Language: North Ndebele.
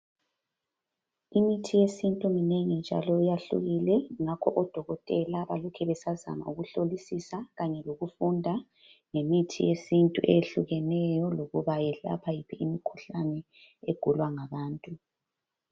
Imithi yesintu minengi njalo iyahlukile ngoba odokotela balokhe besazama ukuhlolisisa kanye lokufunda ngemithi yesintu eyehlukeneyo lokubayelapha yiphi imkhuhlane egulwa ngabantu.